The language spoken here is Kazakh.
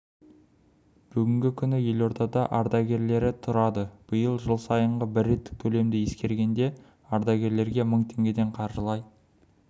бүгінгі күні елордада ардагері тұрады биыл жыл сайынғы бір реттік төлемді ескергенде ардагерлерге мың теңгеден қаржылай